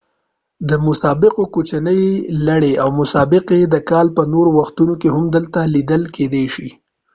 د مسابقو کوچنۍ لړۍ او مسابقې د کال په نورو وختونو کې هم دلته لیدل کیدای شي